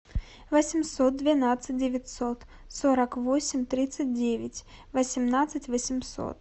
восемьсот двенадцать девятьсот сорок восемь тридцать девять восемнадцать восемьсот